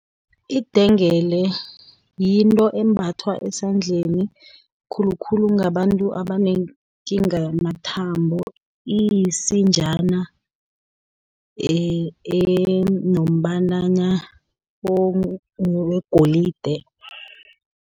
Idengele yinto embathwa esandleni, khulukhulu ngabantu abanekinga yamathambo, iyisinjana enombalana wegolide.